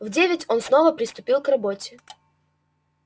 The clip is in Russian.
в девять он снова приступил к работе